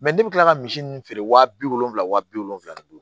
ne bɛ kila ka misi nunnu feere wa bi wolonwula wa bi wolonwula ni